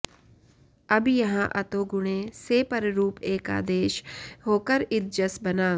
अब यहाँ अतो गुणे से पररूप एकादेश होकर इद जस् बना